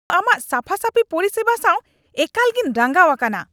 ᱤᱧ ᱫᱚ ᱟᱢᱟᱜ ᱥᱟᱯᱷᱟᱥᱟᱯᱷᱤ ᱯᱚᱨᱤᱥᱮᱵᱟ ᱥᱟᱶ ᱮᱠᱟᱞᱜᱮᱧ ᱨᱟᱸᱜᱟᱣ ᱟᱠᱟᱱᱟ ᱾